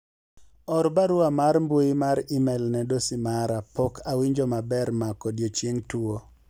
or barua mar mbui mar email ne dosi mara pok awinjo maber mako odiochieng tuo